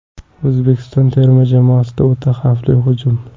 O‘zbekiston terma jamoasida o‘ta xavfli hujum.